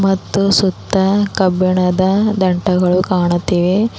ಮತ್ತು ಸುತ್ತ ಕಬ್ಬಿಣದ ದಂಟಗಳು ಕಾಣುತ್ತಿವೆ.